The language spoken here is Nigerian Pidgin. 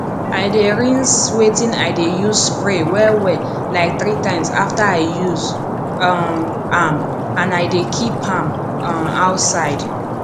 i dey rinse wetin i dey use spray wellwell like three times after i use um am and i dey keep am um outside